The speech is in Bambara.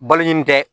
Balo ɲini tɛ